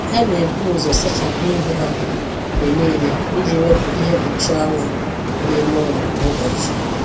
Ha na-ebu ụzọ sachapụ ihu ha mgbe niile iji wepụ ihe mkpuchi anwụ na ime ụlọ kwa ụbọchị